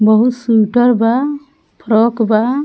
बहुत सूटर बा फ्रॉक बा।